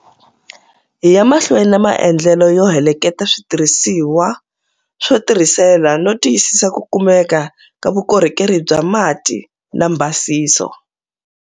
Hi ya mahlweni na maendlelo yo heleketa switirhisiwa swo tisirhelela no tiyisisa ku kumeka ka vukorhokeri bya mati na mbhasiso.